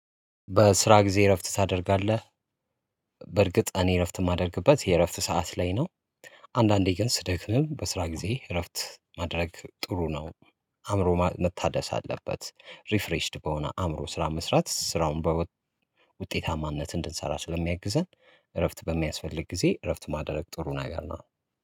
በስራ ጊዜ እረፍት ታደርጋለህ? በርግጥ እኔ እረፍት የማደርግበት የእረፍት ሰዓት ላይ ነው። አንዳንዴ ግን ስደክም በስራ ጊዜ እረፍት ማድረግ ጥሩ ነው። አእምሮ መታደስ አለበት ሪፍሬሽድ በሆነ አእምሮ ስራ መስራት ስራውን በውጤታማነት እንድንሰራ ስለሚያግዘን። እረፍት በሚያስፈልግ ጊዜ እረፍት ማደረግ ጥሩ ነገር ነው